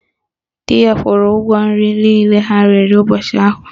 Dị ya kwuru ụgwọ nri niile ha riri ụbọchị ahụ